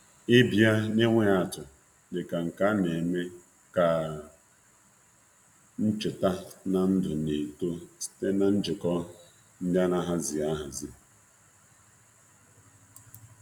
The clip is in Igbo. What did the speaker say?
Nleta itụnanya dị ka nke a na-echetaram ndụ na-eme nke ọma na njikọ edeghị ede.